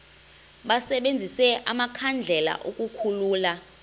basebenzise amakhandlela ukukhulula